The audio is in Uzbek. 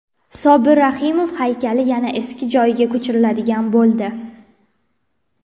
Sobir Rahimov haykali yana eski joyiga ko‘chiriladigan bo‘ldi.